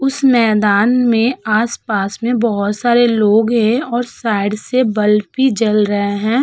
उस मैदान में आस-पास में बहोत सारे लोग हैं और साइड से बल्ब भी जल रहे हैं।